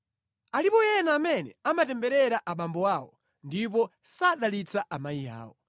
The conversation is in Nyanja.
“Alipo ena amene amatemberera abambo awo, ndipo sadalitsa amayi awo.